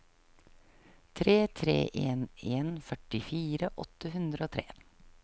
tre tre en en førtifire åtte hundre og tre